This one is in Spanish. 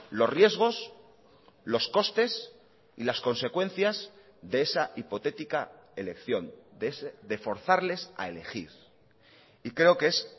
los riesgos los costes y las consecuencias de esa hipotética elección de forzarles a elegir y creo que es